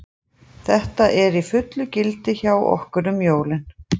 Þetta er í fullu gildi hjá okkur um jólin.